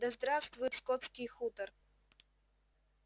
да здравствует скотский хутор